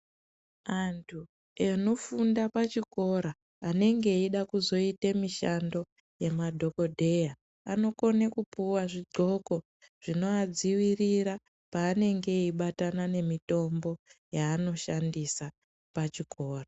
Antu anofunda pachikora anenge eida kuzoita mishando yemadhogodheya anokone kupuwa zvidxoko zvinoadzivirira paanenge eibatana nemitombo yaanoshandisa pachikora.